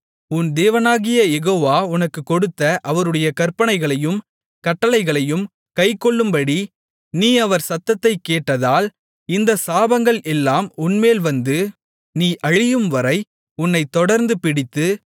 உன் தேவனாகிய யெகோவா உனக்கு கொடுத்த அவருடைய கற்பனைகளையும் கட்டளைகளையும் கைக்கொள்ளும்படி நீ அவர் சத்தத்தை கேட்காதால் இந்தச் சாபங்கள் எல்லாம் உன்மேல் வந்து நீ அழியும்வரை உன்னைத் தொடர்ந்து பிடித்து